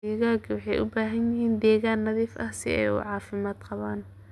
Digaagga waxay u baahan yihiin deegaan nadiif ah si ay u caafimaad qabaan.